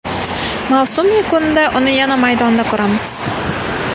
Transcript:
Mavsum yakunida uni yana maydonda ko‘ramiz.